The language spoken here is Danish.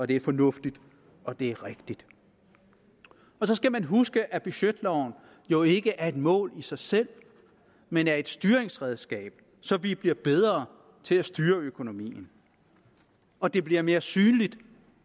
det er fornuftigt og det er rigtigt og så skal man huske at budgetloven jo ikke er et mål i sig selv men er et styringsredskab så vi bliver bedre til at styre økonomien og det bliver mere synligt